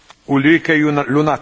Herr Präsident!